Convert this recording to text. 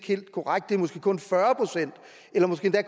helt korrekt det er måske kun fyrre procent eller måske